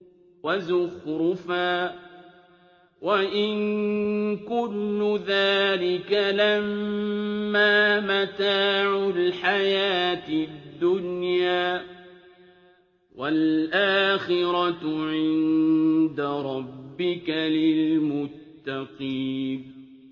وَزُخْرُفًا ۚ وَإِن كُلُّ ذَٰلِكَ لَمَّا مَتَاعُ الْحَيَاةِ الدُّنْيَا ۚ وَالْآخِرَةُ عِندَ رَبِّكَ لِلْمُتَّقِينَ